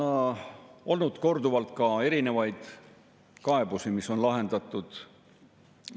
Justkui Eesti oleks ühinenud mingite rahvusvaheliste konventsioonidega, seadustega, mis panevad Eestile teatud kohustusi, ja meil ei ole pääsu selle seaduse vastuvõtmisest.